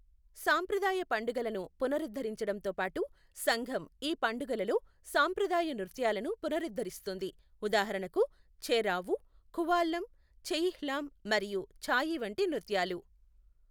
సాంప్రదాయ పండుగలను పునరుద్ధరించడంతో పాటు, సంఘం ఈ పండుగలలో సాంప్రదాయ నృత్యాలను పునరుద్ధరిస్తుంది, ఉదాహరణకు, చ్ఛేరావు, ఖువాల్లం, ఛెయిహ్లాం మరియు చ్ఛాయీ వంటి నృత్యాలు.